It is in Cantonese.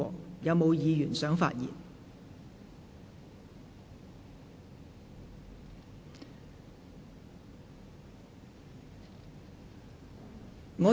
是否有議員想發言？